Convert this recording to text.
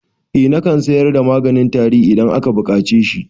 Eh nakan sayar da maganin tari idan aka buƙace shi